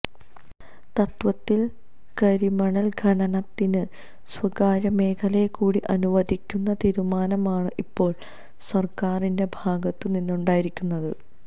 തത്വത്തില് കരിമണല് ഖനനത്തിന് സ്വകാര്യമേഖലയെക്കൂടി അനുവദിക്കുന്ന തീരുമാനമാണ് ഇപ്പോള് സര്ക്കാരിന്റെ ഭാഗത്തുനിന്നുണ്ടായിരിക്കുന്നത്